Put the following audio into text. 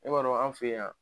E b'a an fɛ yan